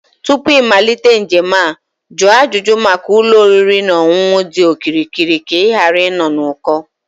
Tupu ịmalite njem a, jụọ ajụjụ maka ụlọ oriri na ọṅụṅụ dị okirikiri ka ịghara ịnọ n'uko